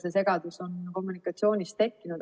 See segadus oli kommunikatsioonist tekkinud.